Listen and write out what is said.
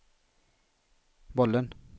bollen